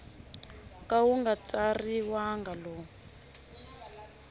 ka wu nga tsariwangi lowu